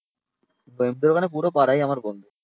নইমদের ওখানে পুরো পাড়াই বন্ধু